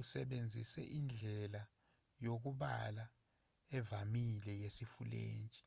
usebenzise indlela yokubala evamile yesifulentshi